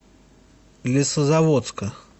лесозаводска